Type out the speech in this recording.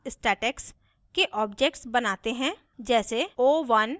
यहाँ हम class statex के objects बनाते हैं